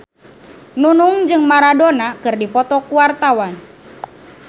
Nunung jeung Maradona keur dipoto ku wartawan